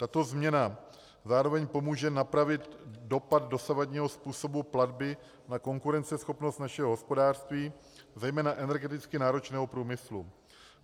Tato změna zároveň pomůže napravit dopad dosavadního způsobu platby na konkurenceschopnost našeho hospodářství, zejména energeticky náročného průmyslu.